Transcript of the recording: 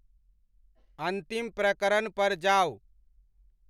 अंतिम प्रकरण पर जाऊ